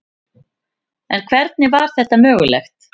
En hvernig var þetta mögulegt?